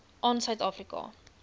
aan suid afrika